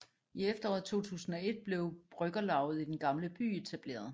I efteråret 2001 blev Bryggerlavet i Den Gamle By etableret